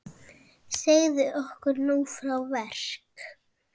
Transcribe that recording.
Segðu okkur nú frá verk